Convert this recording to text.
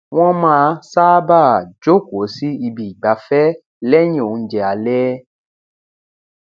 wọn máa sábáà jókòó sí ibi ìgbafẹ lẹyìn oúnjẹ alẹ